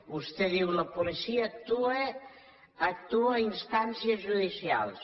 vostè diu la policia actua a instàncies judicials